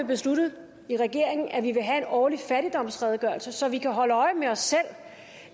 besluttet i regeringen at vi vil have en årlig fattigdomsredegørelse så vi kan holde øje med os selv